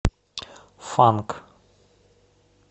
фанк